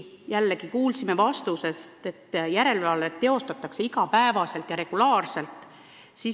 Jällegi kuulsime ministri vastusest, et järelevalvet teostatakse iga päev, regulaarselt.